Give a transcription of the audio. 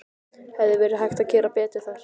Hefði verið hægt að gera betur þar?